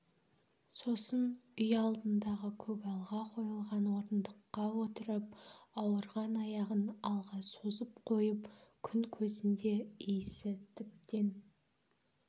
сосын үй алдындағы көгалға қойылған орындыққа отырып ауырған аяғын алға созып қойып күн көзінде иісі тіптен